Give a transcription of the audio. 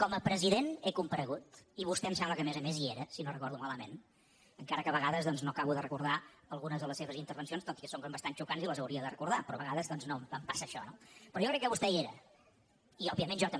com a president he comparegut i vostè em sembla que a més a més hi era si no ho recordo malament encara que a vegades doncs no acabo de recordar algunes de les seves intervencions doncs que són bastant xocants i les hauria de recordar però a vegades em passa això no però jo crec que vostè hi era i òbviament jo també